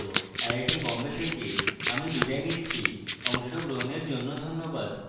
IIT Bombay থেকে আমি বিদায় নিচ্ছি অংশগ্রহণের জন্য ধন্যবাদ